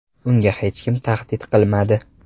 Unga hech kim tahdid qilmadi.